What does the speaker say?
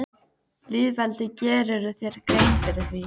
Lýðveldið, gerirðu þér grein fyrir því?